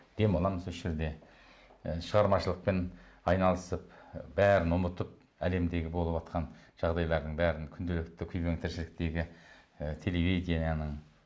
демаламыз осы жерде ы шығармашылықпен айналысып бәрін ұмытып әлемдегі болыватқан жағдайлардың бәрін күнделікті күйбең тіршіліктегі і телевидениенің